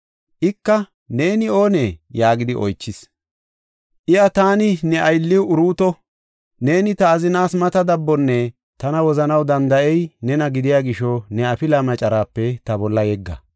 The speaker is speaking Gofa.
Ika, “Neeni oonee?” yaagidi oychis. Iya, “Taani ne aylliw Uruuto; neeni ta azinaas mata dabbonne tana wozanaw danda7ey nena gidiya gisho ta bolla ne afilaa yegga” yaagasu.